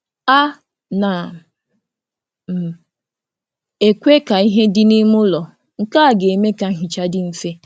A na m ahapụ ka ìhè eke juo ụlọ ka nhicha wee maa maa mma karị.